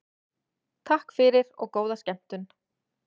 Takk fyrir og góða skemmtun.